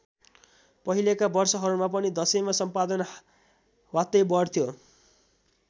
पहिलेका वर्षहरूमा पनि दशैँमा सम्पादन ह्वात्तै बढ्थ्यो।